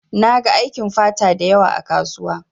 Na gan aikin fata dayawa ã kasuwa.